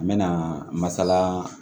N bɛ na masala